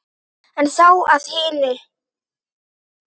En þá að hinu.